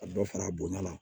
Ka dɔ fara bonya kan